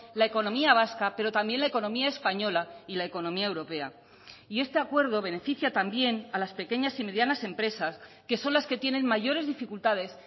la economía vasca pero también la economía española y la economía europea y este acuerdo beneficia también a las pequeñas y medianas empresas que son las que tienen mayores dificultades